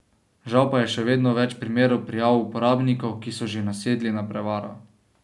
Žal pa je še vedno več primerov prijav uporabnikov, ki so že nasedli na prevaro.